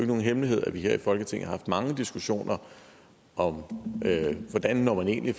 nogen hemmelighed at vi her i folketinget har haft mange diskussioner om hvordan man egentlig